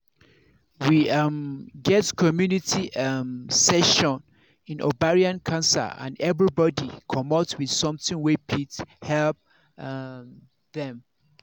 we um get community um session in ovarian cancer and everybody commot with something wey fit help um dem